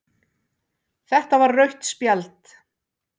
Þetta var rautt spjald